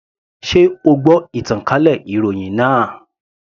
Sé o gbọ́ ìtànkálẹ̀ ìròhìn náà.